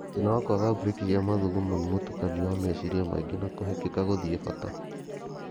Thĩna wa kwaga brĩki cia mathugumo nĩ mũtukanio wa meciria maingĩ na kũhĩkĩkka gũthiĩ bata